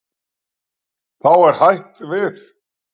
Þá er hætt við.